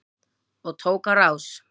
Og tók á rás.